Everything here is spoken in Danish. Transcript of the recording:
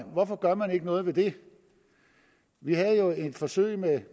hvorfor gør man ikke noget ved det vi havde jo et forsøg med